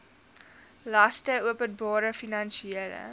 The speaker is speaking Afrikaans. laste openbare finansiële